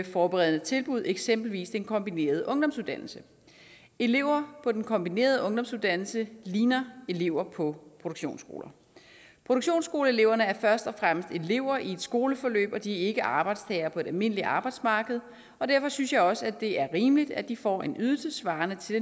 forberedende tilbud eksempelvis den kombinerede ungdomsuddannelse elever på den kombinerede ungdomsuddannelse ligner elever på produktionsskoler produktionsskoleeleverne er først og fremmest elever i et skoleforløb og de er ikke arbejdstagere på et almindeligt arbejdsmarked og derfor synes jeg også det er rimeligt at de får en ydelse svarende til